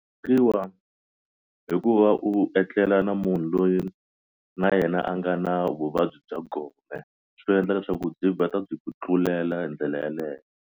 hi ku va u etlela na munhu loyi na yena a nga na vuvabyi bya gome swi endla leswaku byi vheta byi ku tlulela hi ndlela yeleyo.